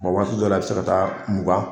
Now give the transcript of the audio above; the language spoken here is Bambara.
waati dɔw la i bi se ka taa mugan.